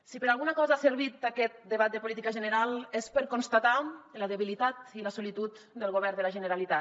si per alguna cosa ha servit aquest debat de política general és per constatar la debilitat i la solitud del govern de la generalitat